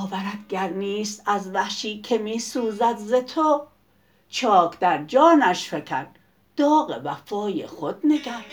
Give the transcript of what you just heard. نگر باورت گر نیست از وحشی که می سوزد ز تو چاک در جانش فکن داغ وفای خود نگر